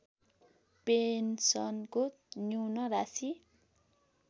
पेन्सनको न्यून राशि